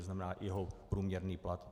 To znamená jeho průměrný plat.